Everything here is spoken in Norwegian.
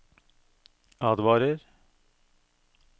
advarer